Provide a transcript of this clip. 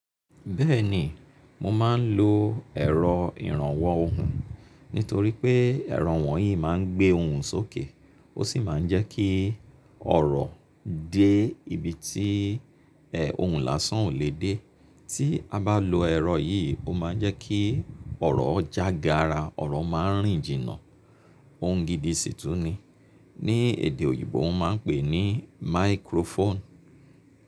Bẹ́ẹ̀ni, mo máa ń lo ẹ̀rọ ìrànwọ́ ohùn nítorí pé ẹ̀rọ wọ̀nyí máa ń gbé ohùn sókè ó sì máa ń jẹ́ kí ọ̀rọ̀ dé ibi tí, ohùn lásán ò lè dé. Tí a bá lo ẹ̀rọ yìí, ó máa ń jẹ́ kí ọ̀rọ̀ jága ara ọ̀rọ̀ má ń rìn jìnnà. Ohun gidi sì tún ni. Ni èdè òyìnbó wọn máa ń pè é ní microphone.